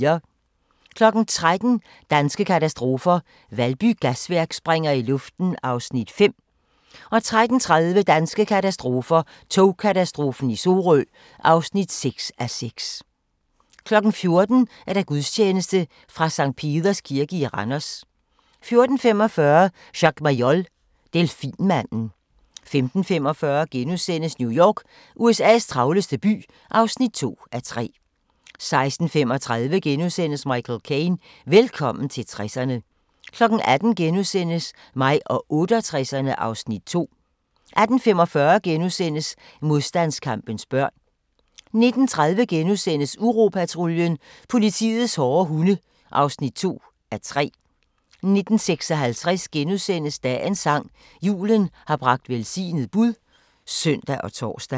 13:00: Danske katastrofer – Valby Gasværk springer i luften (5:6)* 13:30: Danske katastrofer – Togkatastrofen i Sorø (6:6)* 14:00: Gudstjeneste fra Sct. Peders Kirke i Randers 14:45: Jacques Mayol – delfinmanden 15:45: New York – USA's travleste by (2:3)* 16:35: Michael Caine – Velkommen til 60'erne * 18:00: Mig og 68'erne (Afs. 2)* 18:45: Modstandskampens børn * 19:30: Uropatruljen – politiets hårde hunde (2:3)* 19:56: Dagens sang: Julen har bragt velsignet bud *(søn og tor)